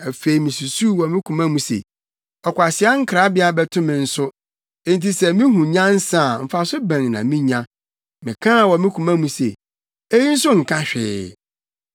Afei misusuw wɔ me koma mu se, “Ɔkwasea nkrabea bɛto me nso. Enti sɛ mihu nyansa a mfaso bɛn na minya?” Mekaa wɔ me koma mu se, “Eyi nso nka hwee.”